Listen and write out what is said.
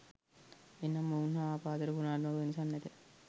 එනම් ඔවුන් හා අප අතර ගුණාත්මක වෙනසක් නැත